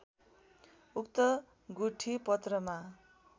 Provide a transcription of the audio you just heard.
उक्त गुठी पत्रमा